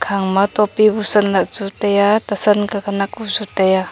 hang ma topi busan lah chu taiya tesan khanak bu chu taiya.